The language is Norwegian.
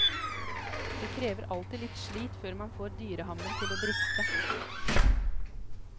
Det krever alltid litt slit før man får dyrehammen til å briste.